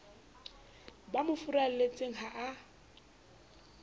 ba mo furalletseng ha a